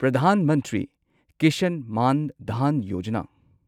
Pradhan Mantri Kisan Maan Dhan Yojana